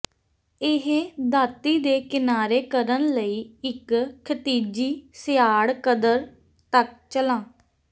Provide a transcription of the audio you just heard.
ਇਹ ਦਾਤੀ ਦੇ ਕਿਨਾਰੇ ਕਰਨ ਲਈ ਇੱਕ ਖਿਤਿਜੀ ਸਿਆੜ ਕਦਰ ਤੱਕ ਚਲਾ